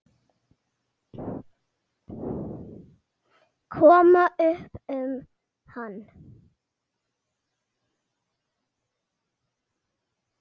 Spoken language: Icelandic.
Koma upp um hann.